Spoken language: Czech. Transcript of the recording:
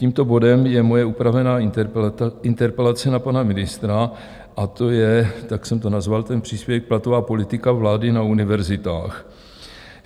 Tímto bodem je moje upravená interpelace na pana ministra a to je, tak jsem to nazval, ten příspěvek, Platová politika vlády na univerzitách.